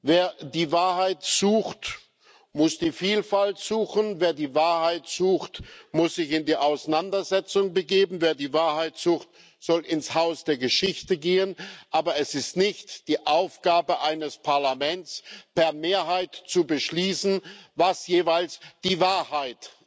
Wer die Wahrheit sucht, muss die Vielfalt suchen, wer die Wahrheit sucht, muss sich in die Auseinandersetzung begeben, wer die Wahrheit sucht, soll ins Haus der Geschichte gehen, aber es ist nicht die Aufgabe eines Parlaments, per Mehrheit zu beschließen, was jeweils die Wahrheit